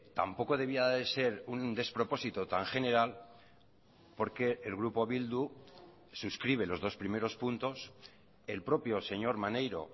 tampoco debía de ser un despropósito tan general porque el grupo bildu suscribe los dos primeros puntos el propio señor maneiro